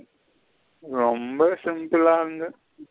ரொம்ப simple ல இருந்த.